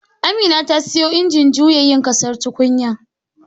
Amina ta siyo injin juya ƙasa yin tukunyar